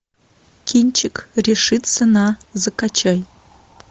кинчик решиться на закачай